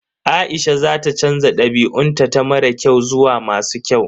Aisha za ta canza dabi'un ta mara kyau zuwa masu kyau.